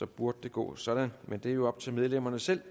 burde det gå sådan men det er jo op til medlemmerne selv